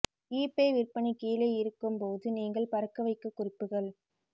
eBay விற்பனை கீழே இருக்கும் போது நீங்கள் பறக்க வைக்க குறிப்புகள்